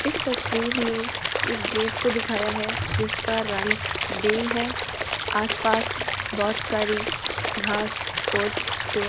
इस तस्वीर में एक गेट को दिखाया है जिसका रंग ग्रीन है आसपास बहोत सारी घास और पेड़ --